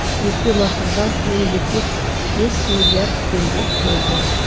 өтемақыға мемлекет бес миллиард теңге бөлді